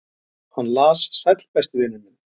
"""Hann las: Sæll, besti vinur minn."""